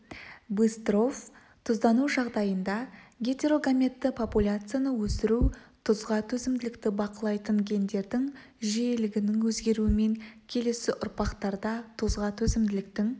быстров тұздану жағдайында гетерогаметті популяцияны өсіру тұзға төзімділікті бақылайтын гендердің жиілігінің өзгеруімен келесі ұрпақтарда тұзға төзімділіктің